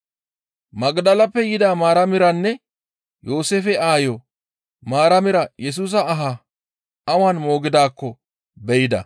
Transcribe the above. Magdaleppe yida Maaramiranne Yooseefe aayo Maaramira Yesusa aha awan moogidaakko be7ida.